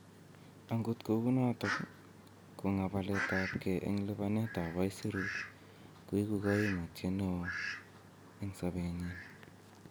agot kou noton kong'abaletab ge en lipane at aisurut koigu koimutiet ne oo en sobenyin